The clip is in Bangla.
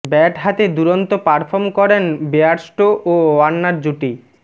ব্যাট হাতে দুরন্ত পারফর্ম করেন বেয়ারস্টো ও ওয়ার্নার জুটি